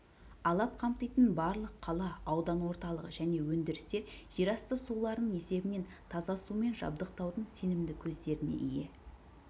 алап қамтитын барлық қала аудан орталығы және өндірістер жерасты суларының есебінен таза сумен жабдықтаудың сенімді көздеріне ие